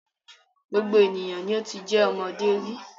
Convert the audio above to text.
Gbogbo ènìyàn ni o ti jẹ́ ọmọdé rí.